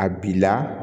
A bi la